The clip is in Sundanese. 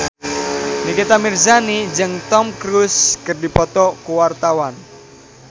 Nikita Mirzani jeung Tom Cruise keur dipoto ku wartawan